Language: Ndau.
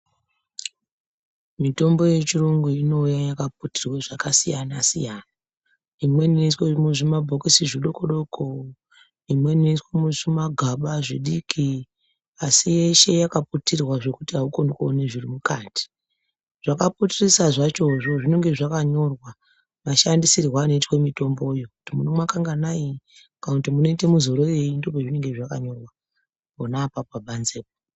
Mitombo yechiyungu inouya yakaputirwe zvakasiyana-siyana. Imweni inoiswe muzvimabhokisi zvidoko-doko, imweni inoswe muzvimagaba zvidoko. Asi yeshe yakaputirwe zvekuti aukoni kuona zviri mukati. Zvakaputirisa zvachozvo zvinonga zvakanyorwa mashandisirwe anoitwa mitombo yo. Kuti munomwa kanganai, kana kuti munoita madzorereyi. Ndipo pezvinenge zvakanyorwa pona pabanzepo.